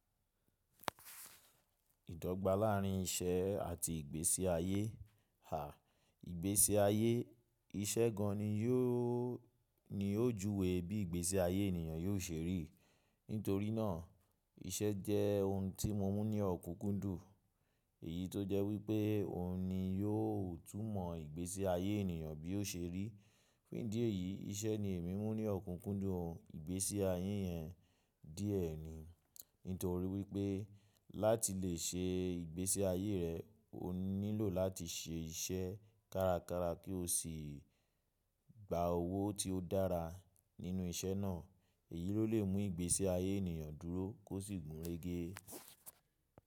Ìdọ́gba láàárín iṣẹ́ àti ìgbésí ayé. À, ìgbésí ayé, iṣẹ́ gan ni yóò ni ó juwe bí ìgbésí ayé ènìyàn yóò ṣe rí. Nítorí náà iṣẹ́ jẹ́ ohun tí mo mú ní ọ̀kúkúndùn. Èyí tó jẹ́ wípé ọ̀hun ni yóò túmọ̀ ìgbésí ayé ènìyàn bí ó ṣe rí. Fun idi èyí iṣẹ́ ni èmi mú ní ọ̀kúkúndùn ìgbésí ayé yẹn díẹ̀ ni. Nítorí wípé láti lè ṣe ìgbésí ayé rẹ, o nílò láti ṣe iṣẹ́ kárakára kí o sì gba owó tí ó dára nínú iṣẹ́ náà. Èyí ló lè mú ìgbésí ayé ènìyàn dúró kó sì gúnrégé.